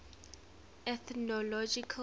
ethnological